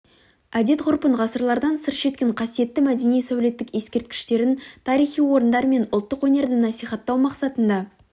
әдет-ғұрпын ғасырлардан сыр шерткен қасиетті мәдени сәулеттік ескерткіштерін тарихи орындар мен ұлттық өнерді насихаттау мақсатында